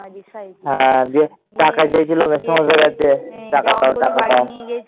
টাকা চেয়েছিল মেসোমশাই এর কাছে। টাকা দাও, টাকা দাও